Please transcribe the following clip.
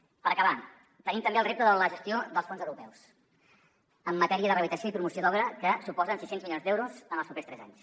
per acabar tenim també el repte de la gestió dels fons europeus en matèria de rehabilitació i promoció d’obra que suposen sis cents milions d’euros en els propers tres anys